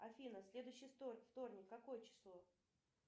афина следующий вторник какое число